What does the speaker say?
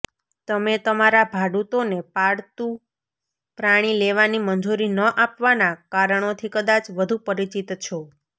તમે તમારા ભાડૂતોને પાળતુ પ્રાણી લેવાની મંજૂરી ન આપવાના કારણોથી કદાચ વધુ પરિચિત છો